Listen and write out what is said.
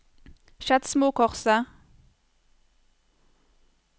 Skedsmokorset